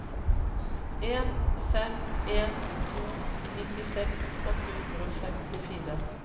en fem en to nittiseks åtte hundre og femtifire